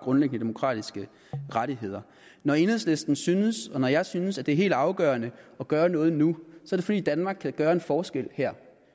grundlæggende demokratiske rettigheder når enhedslisten synes og når jeg synes at det er helt afgørende at gøre noget nu er det fordi danmark kan gøre en forskel her